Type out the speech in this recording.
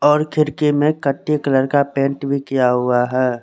और खिड़की में कटे कलर का पेंट भी किया हुआ है।